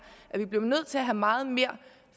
at vi bliver nødt til at have meget mere